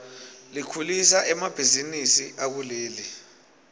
likhulisa emabihzinisi akuleli